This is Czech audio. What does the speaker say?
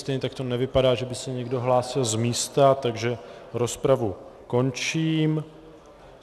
Stejně tak to nevypadá, že by se někdo hlásil z místa, takže rozpravu končím.